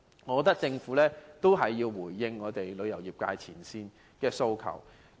我認為政府必須回應業界前線從業員的訴求。